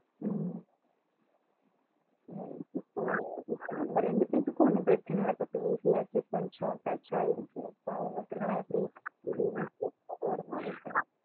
ம் இப்போ இப்ப நம்ம ரெண்டு பேருக்கும் ஒன்னும் பிரச்சனை இல்ல கொஞ்சம் touch ஆகி இருக்கு ஆமா அவங்களுக்கு எல்லாம் எப்டி அவங்க நல்லா பேசுறாங்க ம்